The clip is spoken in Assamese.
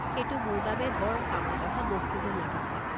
সেইটো মোৰ বাবে বৰ কামত অহা বস্তু যেন লাগিছে।